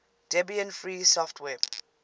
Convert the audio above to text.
debian free software